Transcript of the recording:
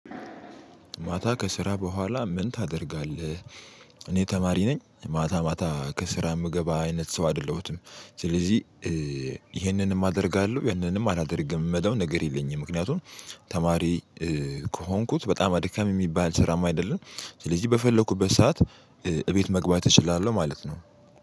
ማታ ከስራ በኋላ ምን ታደርጋለህ? እኔ ተማሪ ነኝ ማታ ማታ ከስራ የምገባ አይነት ሰው አይደለሁትም። ስለዚህ ይሄንንም አደርጋለሁ ያንንም አላደርግም የምለው ነገር የለኝም። ምክንያቱም ተማሪ ከሆንኩት በጣም አድካሚ የሚባል ስራማ አይደለም። ስለዚህ በፈለኩበት ሰዓት እቤት መግባት እችላለሁ ማለት ነው